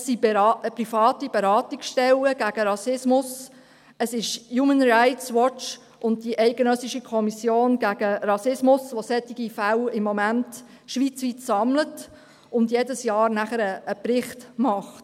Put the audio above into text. Es sind private Beratungsstellen gegen Rassismus, es ist «Human Rights Watch» und die Eidgenössische Kommission gegen Rassismus (EKR), die solche Vorfälle schweizweit momentan sammeln und jedes Jahr einen Bericht verfassen.